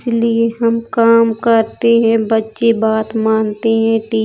इसलिए हम काम करते हैं। बच्चे बात मानते हैं। टि --